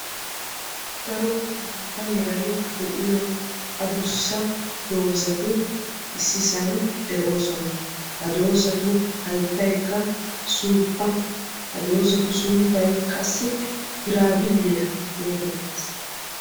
Daro maata meray de'iyo addussa dozati issisan de'oosona, ha dozattu 'hayttaykka suuppa. Ha dozatu sunttay qassi giraabilliya geeettees.